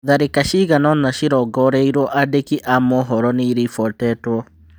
Tharĩka cigana-ona cĩrongoreirio andĩki a mohoro nĩ iribotetwo.